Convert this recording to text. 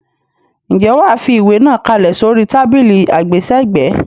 Ǹjẹ́ wà á fi ìwé náà kalẹ̀ sórí tábìlì àgbésẹ̀gbẹ́.